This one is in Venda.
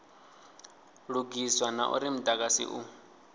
lugiswa na uri mudagasi u